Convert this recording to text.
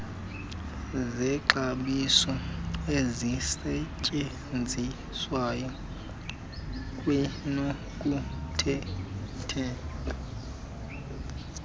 zexabiso ezisetyenziswayo kwanokuthintela